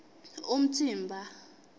umtsimba